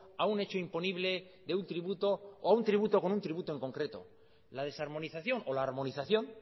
a un hecho imponible de un tributo o un tributo con un tributo en concreto la desarmonización o la armonización